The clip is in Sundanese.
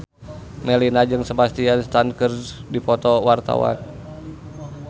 Melinda jeung Sebastian Stan keur dipoto ku wartawan